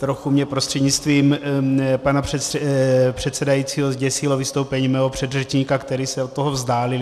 Trochu mě prostřednictvím pana předsedajícího zděsilo vystoupení mého předřečníka, který se od toho vzdálil.